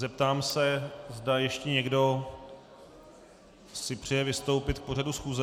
Zeptám se, zdali ještě někdo si přeje vystoupit k pořadu schůze.